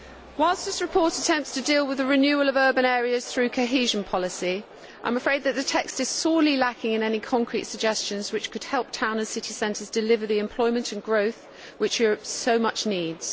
Whilst this report attempts to deal with the renewal of urban areas through cohesion policy, I am afraid that the text is sorely lacking in any concrete suggestions which could help town and city centres deliver the employment and growth which Europe so much needs.